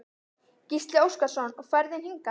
Gísli Óskarsson: Og ferðin hingað?